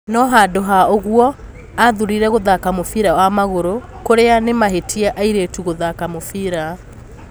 No handũ ha ũguo, aathurire gũthaka mũbira wa magũrũ, kũrĩa ni mahĩtia airĩtu gũthaka mũbira.